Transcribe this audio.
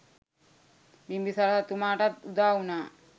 බිම්බිසාර රජතුමාටත් උදාවුනා.